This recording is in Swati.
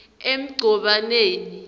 emgcobaneni